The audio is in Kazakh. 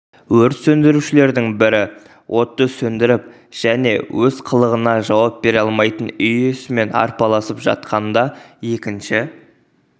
өрт сөндірушілердің бірі отты сөндіріп және өз қылығына жауап бере алмайтын үй иесімен арпалысып жатқанда екінші